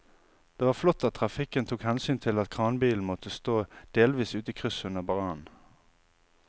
Det var flott at trafikken tok hensyn til at kranbilen måtte stå delvis ute i krysset under brannen.